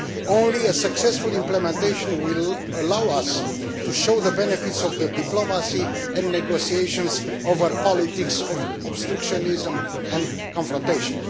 Only successful implementation will allow us to show the benefits of diplomacy and negotiation over the politics of obstructionism and confrontation.